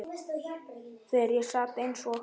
Þegar ég sat eins og